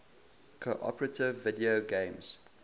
cooperative video games